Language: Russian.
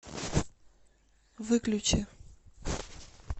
выключи